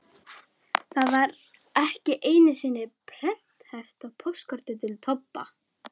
Það var ekki einu sinni prenthæft á póstkorti til Tobba.